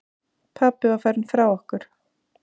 Pabbi var farinn frá okkur.